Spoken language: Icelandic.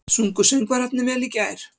Sungu söngvararnir vel í gær?